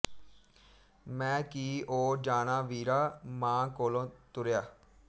ਮੈਂ ਕੀ ਓ ਜਾਣਾ ਵੀਰਾ ਮਾਂ ਕੋਲੋ ਤੁਰਿਆ